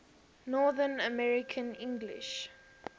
north american english